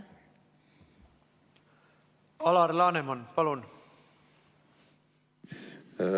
Alar Laneman, palun!